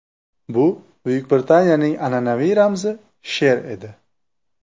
Bu Buyuk Britaniyaning an’anaviy ramzi sher edi.